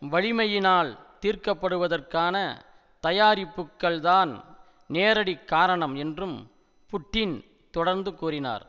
வலிமையினால் தீர்க்கப்படுவதற்கான தயாரிப்புக்கள்தான் நேரடிக் காரணம் என்றும் புட்டின் தொடர்ந்து கூறினார்